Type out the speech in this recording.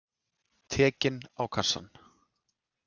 Tekinn á kassann.